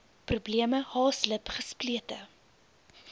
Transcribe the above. probleme haaslip gesplete